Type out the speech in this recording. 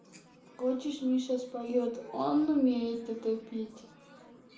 хочешь миша споёт он умеет это пить